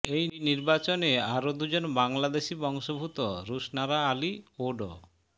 এই নির্বাচনে আরো দুজন বাংলাদেশি বংশোদ্ভূত রুশনারা আলী ও ড